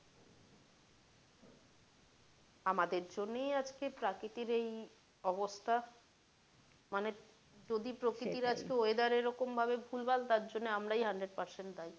আমাদের জন্যেই আজকে প্রাক্রিতির এই অবস্থা মানে যদি প্রকৃতির এই weather এরকম ভাবে ভুলভাল তার জন্য এই আমরাই hundred percent দায়ী